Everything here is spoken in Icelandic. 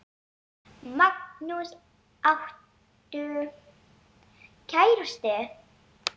Magnús: Áttu kærustu?